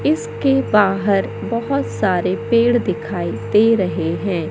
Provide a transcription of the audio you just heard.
इसके बाहर बहोत सारे पेड़ दिखाई दे रहे हैं।